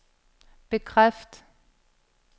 bekræft